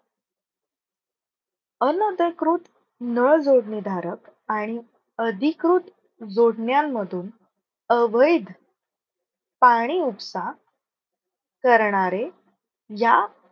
अनधिकृत नळ जोडणी धारक आणि अधिकृत जोडण्यांमधून अवैध पाणी उपसा करणारे या